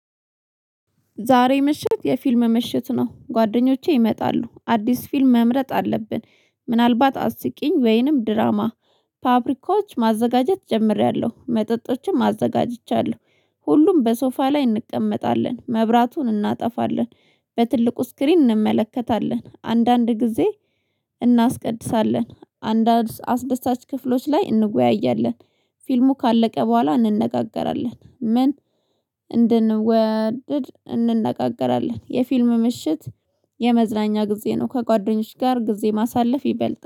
ዛሬ ምሽት የፊልም ምሽት ነው፤ ጓደኞቼ ይመጣሉ፤ አዲስ ፊልም መምረጥ አለብን፤ ምናልባት አስቂኝ ወይንም ድራማ፤ ፋብሪካዎች ማዘጋጀት ጀምሬያለሁ፣ መጠጦችን ማዘጋጅቻለሁ፤ ሁሉም በሶፋ ላይ እንቀመጣለን፤ መብራቱን እናጠፋለን፤ በትልቁ ስክሪን እንመለከታለን፤ አንዳንድ ጊዜ እናስቀድሳለን፤ አንድ አስደሳች ክፍሎች ላይ እንወያያለን፤ ፊልሙ ካለቀ በኋላ እንነጋገራለን፤ ምን እንድንወድድ እንነጋገራለን። የፊልም ምሽት የመዝናኛ ጊዜ ነው ከጓደኞች ጋር ጊዜ ማሳለፍ ይበልጣል